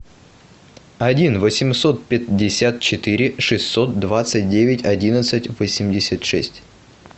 один восемьсот пятьдесят четыре шестьсот двадцать девять одиннадцать восемьдесят шесть